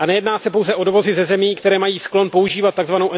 Nejedná se pouze o dovozy ze zemí, které mají sklon používat tzv.